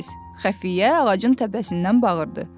Xəfiyyə ağacın təpəsindən bağırdı.